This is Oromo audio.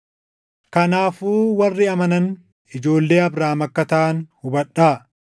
Kanaafuu warri amanan ijoollee Abrahaam akka taʼan hubadhaa.